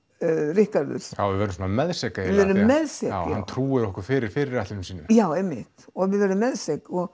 Ríkharður já við verðum svona meðsek já við verðum meðsek já hann trúir okkur fyrir fyrirætlunum sínum já einmitt og við verðum meðsek og